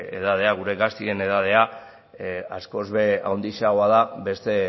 edadea gure gazteen edadea askoz ere handiagoa da